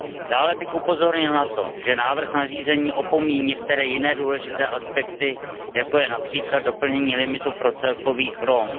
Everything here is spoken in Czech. Dále bych upozornil na to, že návrh nařízení opomíjí některé jiné důležité aspekty, jako je například doplnění limitu pro celkový chrom.